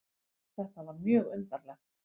Þetta var mjög undarlegt.